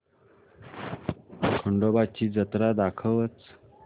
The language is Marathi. खंडोबा ची जत्रा दाखवच